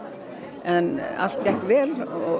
en allt gekk vel og